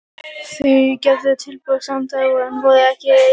Þau gerðu tilboð samdægurs en voru ekki ein um það.